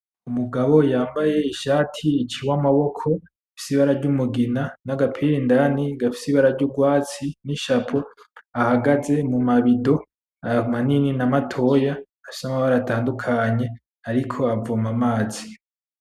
Umugabo yambaye ishati iciwe amaboko ifise ibara ry'umugina n'agapira indani gafise ibara ry'urwatsi n'ishapo , ahagaze mumabido amanini na matoya afise amabara atandukanye ariko avoma amazi.